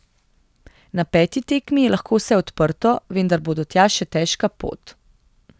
Na peti tekmi je lahko vse odprto, vendar bo do tja še težka pot.